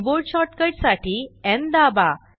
keyboard shortcut साठी न् दाबा